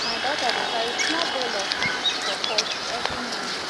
my daughter dey carry small bowl of feed for poultry every morning